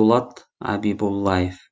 дулат абибуллаев